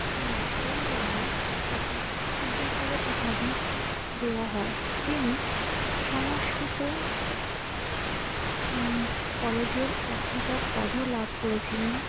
উম সেই জন্যে তাঁকে বিদ্যাসাগর উপাধি দেওয়া হয়। তিনি সংস্কৃত উম কলেজের অধ্যাপক পদও লাভ করেছিলেন